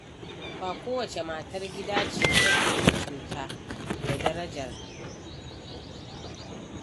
Ba kowace matar gida ce take mutunta da daraja ‘yar aikinta ba.